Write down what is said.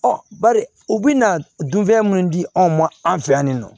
bari u bɛna dunfɛn minnu di anw ma an fɛ yan nin nɔ